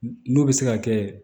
N'o bɛ se ka kɛ